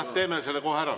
Jah, teeme selle kohe ära.